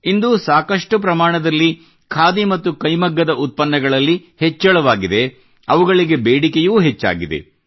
ಇಂದು ಸಾಕಷ್ಟು ಪ್ರಮಾಣದಲ್ಲಿ ಖಾದಿ ಮತ್ತು ಕೈಮಗ್ಗದ ಉತ್ಪನ್ನಗಳಲ್ಲಿ ಹೆಚ್ಚಳವಾಗಿದೆ ಅವುಗಳಿಗೆ ಬೇಡಿಕೆಯೂ ಹೆಚ್ಚಾಗಿದೆ